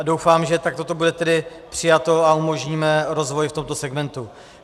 A doufám, že takto to bude tedy přijato a umožníme rozvoj v tomto segmentu.